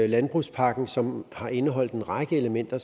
landbrugspakken som har indeholdt en række elementer